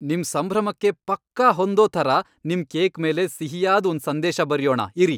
ನಿಮ್ ಸಂಭ್ರಮಕ್ಕೆ ಪಕ್ಕಾ ಹೊಂದೋ ಥರ ನಿಮ್ ಕೇಕ್ ಮೇಲೆ ಸಿಹಿಯಾದ್ ಒಂದ್ ಸಂದೇಶ ಬರ್ಯೋಣ ಇರಿ.